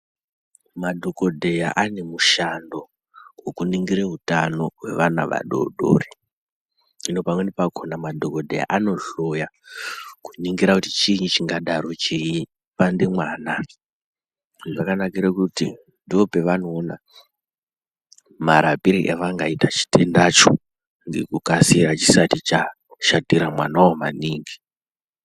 Madhokodheya ane mushando wekuningire utano hweana vadodori. Hino pamweni pakhona madhokodheya anohloya, kuningira kuti chiini chingadaro cheipande mwana. Zvakanakire kuti ndopevanoona marapire avangaita chitendacho ,ngekukasira chisati chashatira mwanawo maningi.